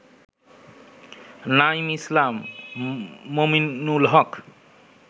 Naim Islam, Mominul Haque